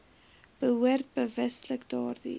behoort bewustelik daardie